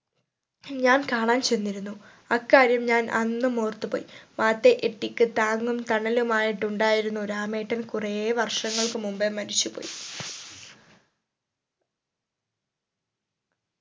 ഞാൻ കാണാൻ ചെന്നിരുന്നു അക്കാര്യം ഞാൻ അന്നും ഓർത്തുപോയി മാതയ് എട്ടിക്ക് താങ്ങും തണലുമായിട്ടുണ്ടായിരുന്നു രാമേട്ടൻ കുറേ വർഷങ്ങൾക്ക് മുമ്പേ മരിച്ചു പോയി